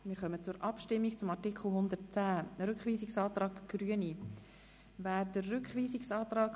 Wir kommen zur Abstimmung über den Rückweisungsantrag der Grünen.